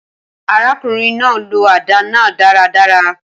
Arákùnrin náà lo àdá náà dáradára